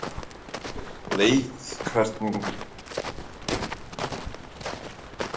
Ásgeir: Leif, hvernig er það, er allt að verða klárt fyrir kvöldið?